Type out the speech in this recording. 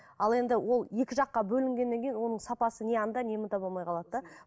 ал енді ол екі жаққа бөлінгеннен кейін оның сапасы не анда не мұнда болмай қалады да